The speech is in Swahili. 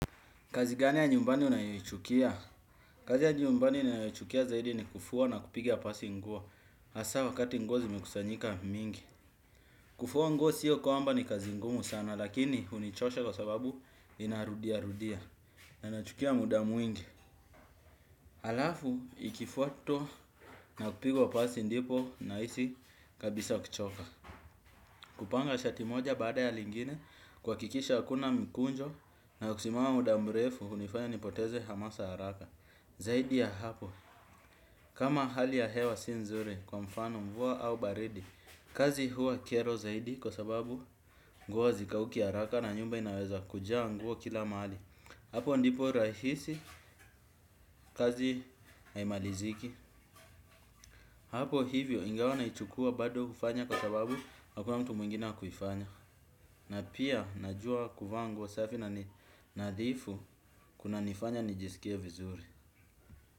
Kazi gani ya nyumbani unayoichukia? Kazi ya nyumbani ninayoichukia zaidi ni kufua na kupigia pasi nguo. Hasaa wakati nguo zimekusanyika mingi. Kufua nguo sio kwamba ni kazi ngumu sana lakini hunichosha kwa sababu inarudia rudia. Na inachukua muda mwingi. Alafu ikifuatwa na kupigia pasi ndipo nahisi kabisa kuchoka. Kupanga shati moja baada ya lingine kuhakikisha hakuna mkunjo na kusimama muda mrefu hunifanya nipoteze hamasa haraka. Zaidi ya hapo, kama hali ya hewa si nzuri kwa mfano mvua au baridi. Kazi huwa kero zaidi kwa sababu nguo hazikauki ya haraka na nyumba inaweza kujaa nguo kila mahali. Hapo ndipo rahisi kazi haimaliziki. Hapo hivyo ingawa naichukua bado hufanya kwa sababu hakuna mtu mwingine wa kuifanya. Na pia najua kuvaaa nguo safi na nadhifu kuna nifanya nijisikie vizuri.